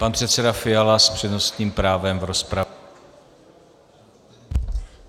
Pan předseda Fiala s přednostním právem v rozpravě.